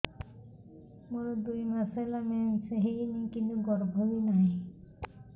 ମୋର ଦୁଇ ମାସ ହେଲା ମେନ୍ସ ହେଇନି କିନ୍ତୁ ଗର୍ଭ ବି ନାହିଁ